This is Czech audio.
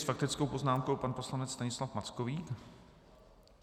S faktickou poznámkou pan poslanec Stanislav Mackovík.